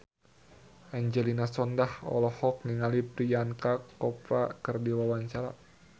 Angelina Sondakh olohok ningali Priyanka Chopra keur diwawancara